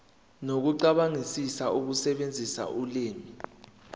nokucabangisisa ukusebenzisa ulimi